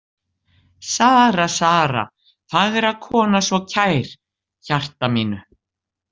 Sara, Sara, fagra kona, svo kær hjarta mínu.